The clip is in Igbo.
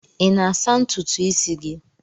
I na-asa ntutu isi gị?